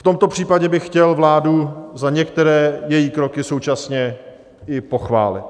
V tomto případě bych chtěl vládu za některé její kroky současně i pochválit.